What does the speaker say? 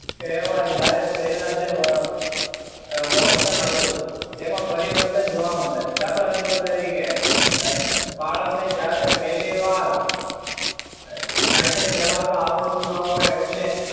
કહેવાય જ્યારે જે પહેલા અમ વર્તન હતું તેમાં પરિવર્તન જોવા મળે દાખલા number તરીકે બાળકને જ્યારે પહેલીવાર cycle ચલાવતા આવડતું ન હોય એટલે,